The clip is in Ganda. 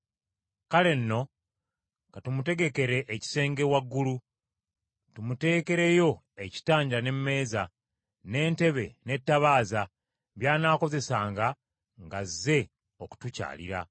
Kale nno katumutegekere ekisenge waggulu, tumuteekereyo ekitanda n’emmeeza, n’entebe, n’ettabaaza by’anaakozesanga ng’azze okutukyalira.”